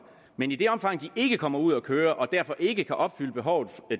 men i det omfang de ikke kommer ud at køre og derfor ikke kan opfylde